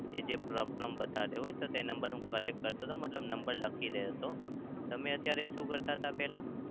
જે જે problem વધારે હોય તો તે હું number collect કરતો હતો. મતલબ number લખી રહ્યો હતો. તમે અત્યારે શું કરતા હતા પહેલા?